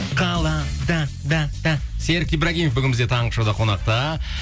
қалада да да серік ибрагимов бүгін бізде таңғы шоуда қонақта